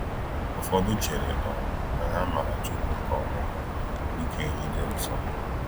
Ụfọdụ chere um na ha maara Chukwu nke ọma—dị ka enyi dị nso.